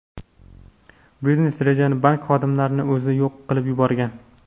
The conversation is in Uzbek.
Biznes-rejani bank xodimlarining o‘zi yo‘q qilib yuborgan.